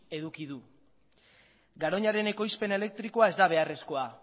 eduki du garoñaren ekoizpen elektrikoa ez da beharrezkoa